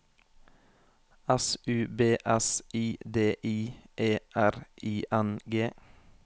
S U B S I D I E R I N G